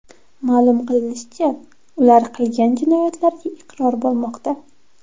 Ma’lum qilinishicha, ular qilgan jinoyatlariga iqror bo‘lmoqda.